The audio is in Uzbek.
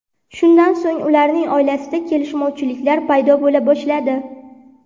Shundan so‘ng ularning oilasida kelishmovchiliklar paydo bo‘la boshladi.